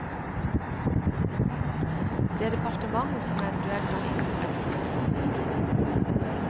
Det er departementet som eventuelt kan innføre et slikt forbud.